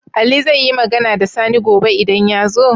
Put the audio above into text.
Ali zaiyi Magana da Sani gobe idan yazo?